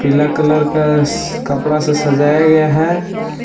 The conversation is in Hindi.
पीला कलर का स कपड़ा से सजाया गया है।